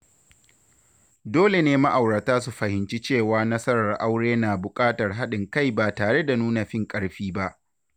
Dole ne ma’aurata su fahimci cewa nasarar aure na bukatar haɗin kai ba tare da nuna fin ƙarfi ba.